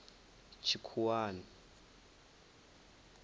tshikhuwani